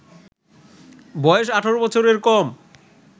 বয়স ১৮ বছরের কম